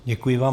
Děkuji vám.